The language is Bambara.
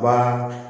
Baara